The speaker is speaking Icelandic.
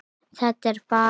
Þetta er bara.